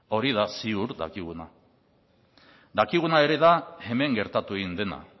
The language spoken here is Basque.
hori da ziur dakiguna dakiguna ere da hemen gertatu egin dena